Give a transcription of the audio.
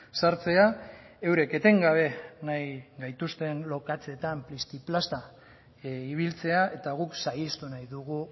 sartzea eurek etengabe nahi gaituzten lokatzetan plisti plasta ibiltzea eta guk saihestu nahi dugu